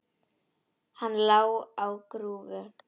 Hann lá á grúfu.